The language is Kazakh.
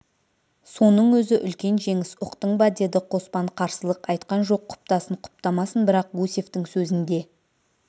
соның өзі үлкен жеңіс ұқтың ба деді қоспан қарсылық айтқан жоқ құптасын құптамасын бірақ гусевтің сөзінде